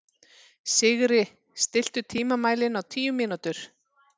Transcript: Sigri, stilltu tímamælinn á tíu mínútur.